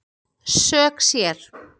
Sök sér